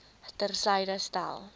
ter syde stel